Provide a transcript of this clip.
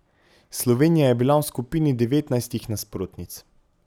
Slovenija je bila v skupini devetnajstih nasprotnic.